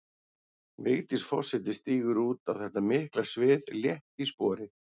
Vigdís forseti stígur út á þetta mikla svið létt í spori.